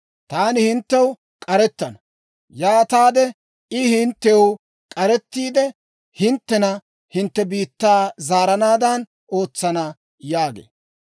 Taani hinttew k'arettana; yaataade I hinttew k'arettiide, hinttena hintte biittaw zaaranaadan ootsana› yaagee.